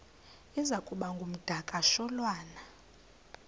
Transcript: iza kuba ngumdakasholwana